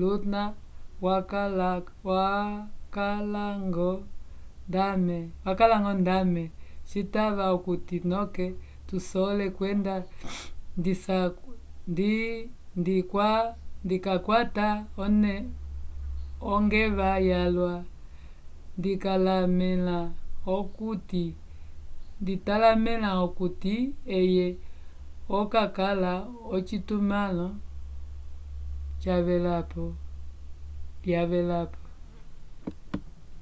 luna wakalañgo ndame citava okuti noke ndusole kwenda ndikakwata ongeva yalwa. .. nditalamẽla okuti eye okakala k’ocitumãlo yavelapo